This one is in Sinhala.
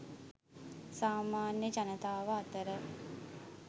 සාමාන්‍ය ජනතාව අතර